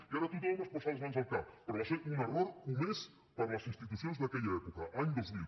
i ara tothom es posa les mans al cap però va ser un error comès per les institucions d’aquella època any dos mil